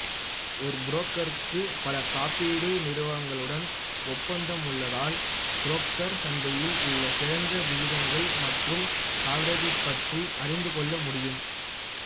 ஒரு புரோக்கருக்கு பல காப்பீடு நிறுவனங்களுடன் ஒப்பந்தமுள்ளதால் புரோக்கர் சந்தையில் உள்ள சிறந்த விகிதங்கள் மற்றும் கவரேஜைப் பற்றி அறிந்துகொள்ளமுடியும்